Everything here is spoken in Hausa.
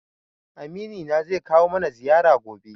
Amini na zai kawo mana ziyara gobe.